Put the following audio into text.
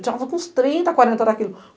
A gente andava com uns trinta, quarenta daquilo.